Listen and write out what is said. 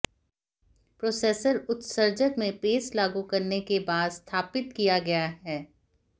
processor उत्सर्जक में paste लागू करने के बाद स्थापित किया गया है